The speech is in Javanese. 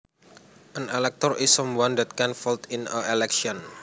An elector is someone that can vote in an election